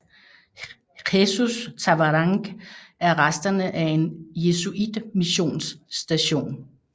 Jesus Tavarangue er resterne af en jesuitmissionsstation